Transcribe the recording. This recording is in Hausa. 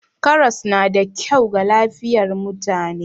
Karas na da kyau ga lafiyar mutane.